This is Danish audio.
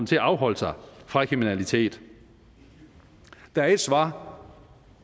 til at afholde sig fra kriminalitet der er ét svar